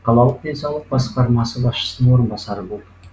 қалалық денсаулық басқармасы басшысының орынбасары болды